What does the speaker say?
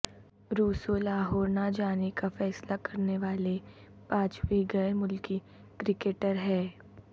Rousseau Lahore نہ جانے کا فیصلہ کرنے والے پانچویں غیرملکی کرکٹر ہیں